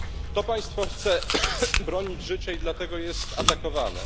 To państwo chce bronić życia i dlatego jest atakowane.